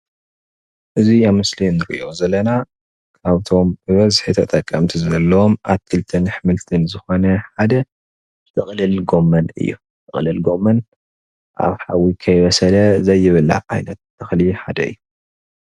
እዚ ኣብ ምስሊ እንሪኦ ዘለና ካብቶም ብበዝሒ ተጠቀምቲ ዘለዎም ኣትክልትን ኣሕምልትን ዝኾነ ሓደ ጥቅልል ጎመን እዩ፡፡ ጥቅልል ጎመን ኣብ ሓዊ ከይበሰለ ዘይብላዕ ዓይነት ተክሊ ሓደ እዩ፡፡